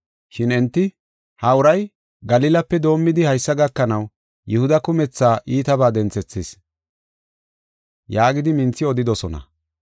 Shin enti, “Ha uray Galilape doomidi haysa gakanaw Yihuda kumetha iitabas denthethees” yaagidi minthi odidosona.